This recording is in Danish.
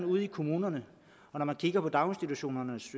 ude i kommunerne og kigger på daginstitutionernes